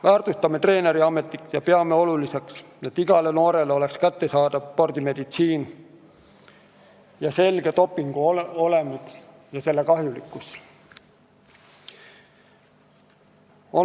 Väärtustame treeneriametit ja peame oluliseks, et igale noorele oleks kättesaadav spordimeditsiin ning selge dopingu olemus ja selle kahjulikkus.